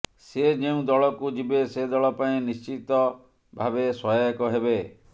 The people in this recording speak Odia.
ସେ ଯେଉଁଦଳକୁ ଯିବେ ସେ ଦଳ ପାଇଁ ନିଶ୍ଚିତ ଭାବେ ସହାୟକ ହେବେ